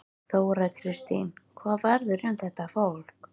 Þóra Kristín: Hvað verður um þetta fólk?